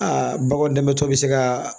Aa baganw damatɔ bɛ se ka